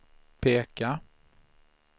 peka